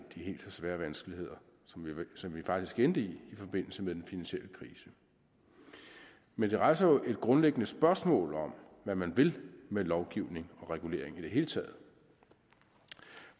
i helt så svære vanskeligheder som vi faktisk endte i i forbindelse med den finansielle krise men det rejser jo grundlæggende spørgsmål om hvad man vil med lovgivning og regulering i det hele taget